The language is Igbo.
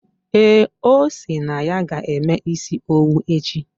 Ee, osi na ya ga-eme isi owu echi.